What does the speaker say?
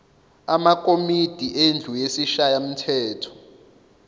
amakomidi endlu yesishayamthetho